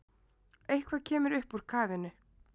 Eitthvað kemur upp úr kafinu